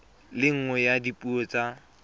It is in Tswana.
le nngwe ya dipuo tsa